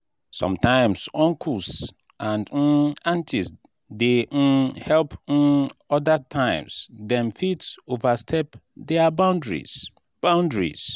sometimes uncles and um aunties dey um help um other times dem fit overstep boundaries. boundaries.